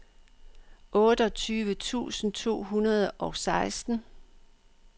otteogtyve tusind to hundrede og seksten